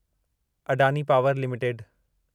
Adani power limited